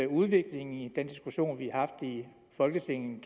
udvikling i den diskussion vi har haft i folketinget